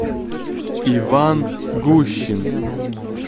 иван гущин